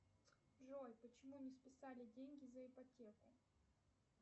джой почему не списали деньги за ипотеку